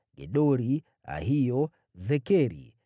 Gedori, Ahio, Zekeri,